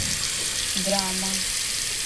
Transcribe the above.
драма